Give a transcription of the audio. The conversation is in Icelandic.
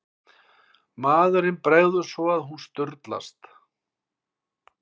Móðurinni bregður svo að hún sturlast.